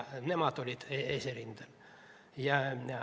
Nemad olid eesrindel.